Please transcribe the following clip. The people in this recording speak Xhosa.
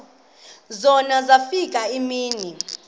zona zafika iimini